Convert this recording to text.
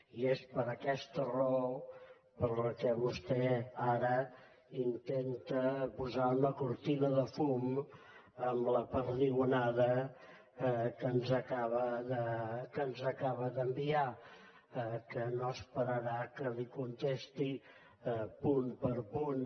i és per aquesta raó per la qual vostè ara intenta posar una cortina de fum amb la perdigonada que ens acaba d’enviar que no esperarà que li contesti punt per punt